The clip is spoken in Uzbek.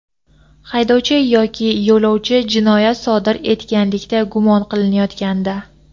haydovchi yoki yo‘lovchi jinoyat sodir etganlikda gumon qilinayotganda;.